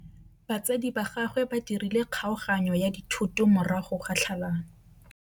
Batsadi ba gagwe ba dirile kgaoganyô ya dithoto morago ga tlhalanô.